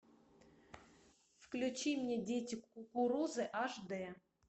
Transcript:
включи мне дети кукурузы аш дэ